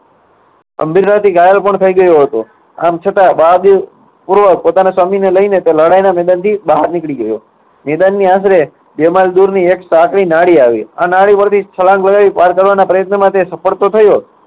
થી ઘાયલ પણ થઇ ગયો હતો. આમ છતાં બહાદુરીપૂર્વક પોતાના સ્વામીને લઈને તે લડાઈના મેદાનથી બહાર નીકળી ગયો. નિધનની આશરે દૂરની એક સાંકળી નાળી આવી. આ નાળી પરથી છલાંગ લગાવી પાર કરવાના પ્રયત્નમાં તે સફળ તો થયો